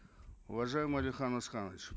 уважаемый алихан асханович